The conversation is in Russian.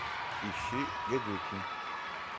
ищи гадюкин